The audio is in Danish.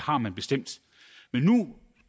har man bestemt men nu